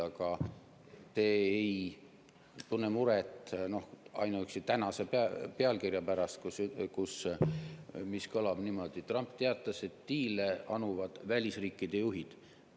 Aga te ei tunne muret ainuüksi tänase pealkirja pärast, mis kõlab niimoodi: "Trump teatas, et diile anuvad välisriikide juhid".